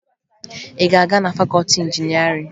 Ị ga-aga na fakọọti injinịarịn?